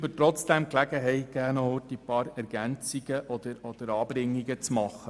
Geben Sie mir trotzdem die Gelegenheit, ein paar Ergänzungen oder Anmerkungen zu machen.